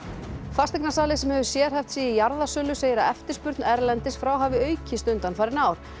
fasteignasali sem hefur sérhæft sig í jarðasölu segir að eftirspurn erlendis frá hafi aukist undanfarin ár